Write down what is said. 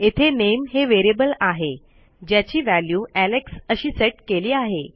येथे नामे हे variableआहे ज्याची व्हॅल्यू एलेक्स अशी सेट केली आहे